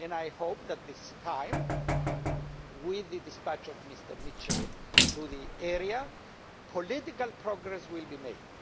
I hope that, this time, with the dispatch of Mr Mitchell to the area, political progress will be made.